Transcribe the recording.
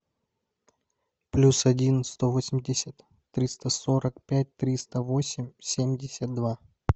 плюс один сто восемьдесят триста сорок пять триста восемь семьдесят два